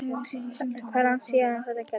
Og hvað er langt síðan það gerðist?